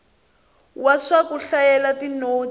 wa swa ku hlayela tinotsi